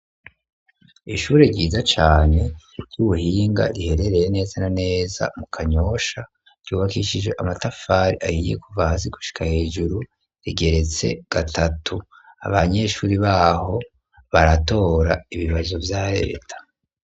Ishure ryiza cane ry'ubuhinga riherereye neza na neza mu kanyosha ryubakishije amatafari ayiye kuvahasi gushika hejuru rigeretse gatatu abanyeshuri baho baratora ibibazo vy'arereta.